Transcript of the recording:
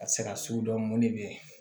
Ka se ka sugu dɔn mɔnni bɛ